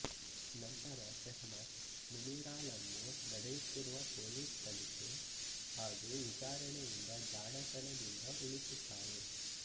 ನಂತರ ಸೆಹ್ಮತ್ ಮುನೀರಾಳನ್ನು ನಡೆಯುತ್ತಿರುವ ಪೋಲಿಸ್ ತನಿಖೆ ಹಾಗೂ ವಿಚಾರಣೆಯಿಂದ ಜಾಣತನದಿಂದ ಉಳಿಸುತ್ತಾಳೆ